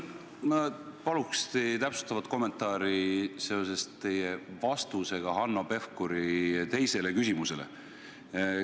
Ma paluks täpsustavat kommentaari seoses teie vastusega Hanno Pevkuri teisele küsimusele.